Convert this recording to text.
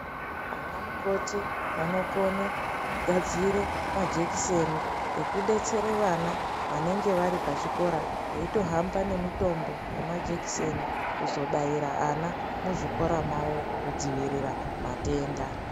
Anamukoti vanokone kugadzire majekiseni ekudetsere vana vanenge vari pachikora eitohamba nemitombo yemajekiseni kuzobaira ana muzvikora mavo kudzivirira matenda.